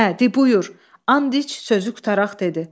Hə, de buyur, and iç, sözü qutaraq dedi.